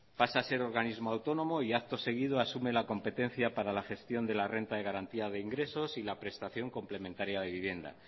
pasa a ser organismo autónomo y acto seguido asume la competencia para la gestión de la renta de garantía de ingresos y la prestación complementaria de vivienda